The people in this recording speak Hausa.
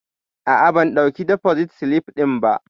A'a bam ɗauki defosit silif ɗin ba